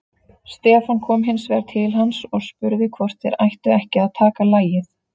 Stefán kom hins vegar til hans og spurði hvort þeir ættu ekki að taka lagið.